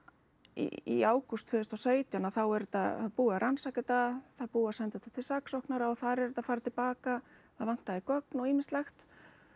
í ágúst tvö þúsund og sautján þá er þetta það búið að rannsaka þetta það er búið að senda þetta til saksóknara og þar er þetta að fara til baka það vantaði gögn og ýmislegt